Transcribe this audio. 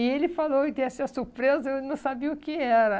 E ele falou, e dessa surpresa, eu não sabia o que era.